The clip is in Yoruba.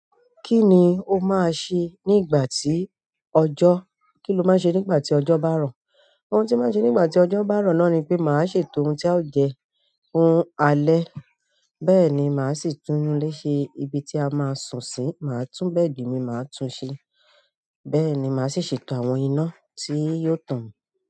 Kí ni o máa ṣe ní ìgbà tí ọjọ́, kí ni o máa ṣe ní ìgbà tí ọjọ́ bá rọ̀? Ohun tí màá ṣe nígbà tí ọjọ́ bá rọ̀ náà ni pé màá ṣètò oun tí a o jẹ, oun alẹ́. Bẹ́ẹ̀ ni màá sì tún ilé ṣe ibi tí a máa sùn sí, màá tún bẹ́ẹ̀dì mi máa tún ṣe bẹ́ẹ̀ ni màá sì ṣètò àwọn iná tí yóò tàn.